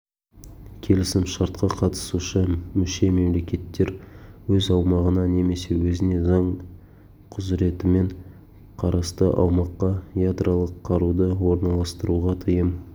келісімшартқа қатысушы мүше-мемлекеттер өз аумағына немесе өзіне заң құзыретімен қарасты аумаққа ядролық қаруды орналастыруға тыйым